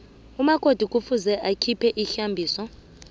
umakoti kufuze akhiphe ihlambiso